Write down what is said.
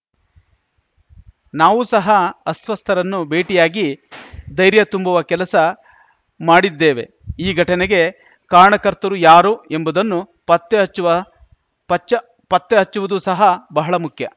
ನಾವು ಸಹ ಅಸ್ವಸ್ಥರನ್ನು ಭೇಟಿಯಾಗಿ ಧೈರ್ಯ ತುಂಬುವ ಕೆಲಸ ಮಾಡಿದ್ದೇವೆ ಈ ಘಟನೆಗೆ ಕಾರಣಕರ್ತರು ಯಾರು ಎಂಬುದನ್ನು ಪತ್ತೆ ಹಚ್ಚುವ ಪಚ್ಚ ಪತ್ತೆ ಹಚ್ಚುವುದು ಸಹ ಬಹಳ ಮುಖ್ಯ